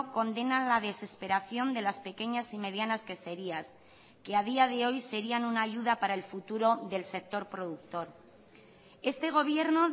condena a la desesperación de las pequeñas y medianas queserías que a día de hoy serían una ayuda para el futuro del sector productor este gobierno